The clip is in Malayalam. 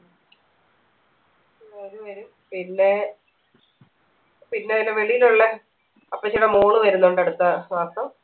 പിന്നെ പിന്നെ അയിന് വെളിയിലുള്ള അപ്പച്ചനും മോളും വരുന്നുണ്ട് അടുത്ത മാസം